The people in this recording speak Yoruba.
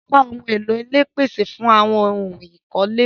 Apá ohùn èlò ilé pese awon ohun ikole.